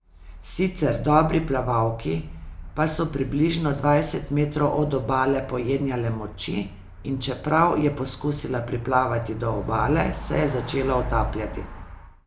Sicer dobri plavalki pa so približno dvajset metrov od obale pojenjale moči in čeprav je poskusila priplavati do obale, se je začela utapljati.